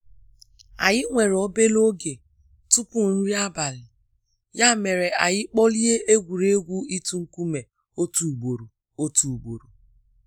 Anyị nwere obere oge tupu nri abali, ya mere anyị kporie egwuregwu ịtụ nkume otu ugboro. otu ugboro.